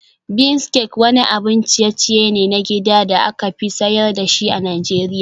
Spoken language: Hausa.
Bean cake wani abun ciye-ciye ne na gida da aka fi sayar da shi a Najeriya.